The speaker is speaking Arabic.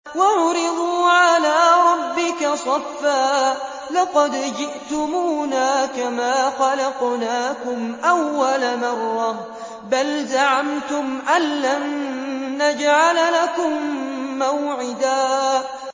وَعُرِضُوا عَلَىٰ رَبِّكَ صَفًّا لَّقَدْ جِئْتُمُونَا كَمَا خَلَقْنَاكُمْ أَوَّلَ مَرَّةٍ ۚ بَلْ زَعَمْتُمْ أَلَّن نَّجْعَلَ لَكُم مَّوْعِدًا